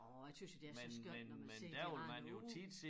Åh jeg tøs jo det er så skønt når man ser de har noget ude